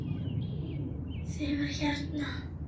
Þegar hérna.